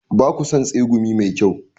Ba ku son tsegumi mai kyau?